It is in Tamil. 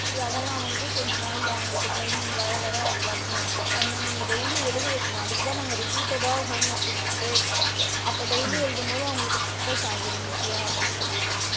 அதலாம் வந்து கொஞ்ச நாள்ல அவுங்களுக்கு training வ வராது வந்திடும் அத நீங்க daily எழுத வைக்கணும் அதுக்கு தான் நாங்க repeated ட homework குடுத்துக்கிட்டே இருக்கிறோம், அப்போ daily எழுதும் போது அவுங்களுக்கு memorise ஆகும் easy யா அப்படின்னு சொல்லிட்டு.